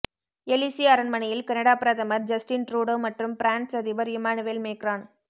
எலிசி அரண்மனையில் கனடா பிரதமர் Justin Trudeau மற்றும் பிரான்ஸ் அதிபர் இம்மானுவேல் மேக்ரான்